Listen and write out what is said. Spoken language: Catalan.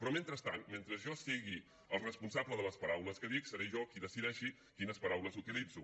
però mentrestant mentre jo sigui el responsable de les paraules que dic seré jo qui decideixi quines paraules utilitzo